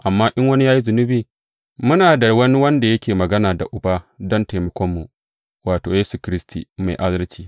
Amma in wani ya yi zunubi, muna da wani wanda yake magana da Uba don taimakonmu, wato, Yesu Kiristi, Mai Adalci.